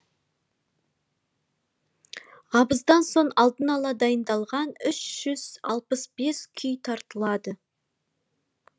абыздан соң алдын ала дайындалған үш жүз алпыс бес күй тартылады